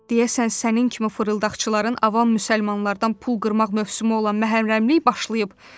Deyəsən sənin kimi fırıldaqçıların avam müsəlmanlardan pul qırma mövsümü olan məhərrəmlik başlayıb.